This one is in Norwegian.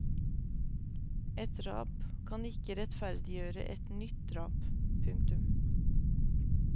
Et drap kan ikke rettferdiggjøre et nytt drap. punktum